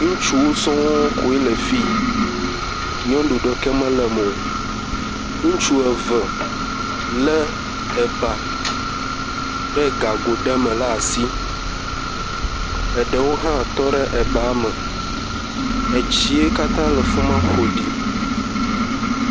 Ŋutsuwo s koe le fi. Nyɔnuwo ɖe ke mele eme o. ŋutsu eve le eba ɖe gago ɖe me ɖe asi, eɖewo hã tɔ ɖe eba me, etsi kata le fima ƒoɖi.